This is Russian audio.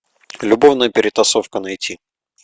любовная перетасовка найти